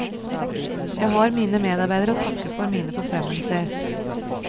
Jeg har mine medarbeidere å takke for mine forfremmelser.